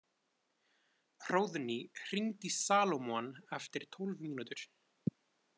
Hróðný, hringdu í Salómon eftir tólf mínútur.